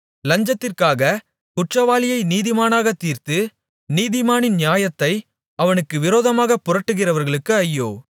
லஞ்சத்திற்காகக் குற்றவாளியை நீதிமானாகத் தீர்த்து நீதிமானின் நியாயத்தை அவனுக்கு விரோதமாகப் புரட்டுகிறவர்களுக்கு ஐயோ